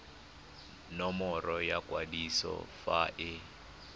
nomoro ya kwadiso fa e